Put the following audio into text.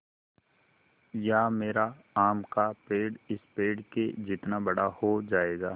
या मेरा आम का पेड़ इस पेड़ के जितना बड़ा हो जायेगा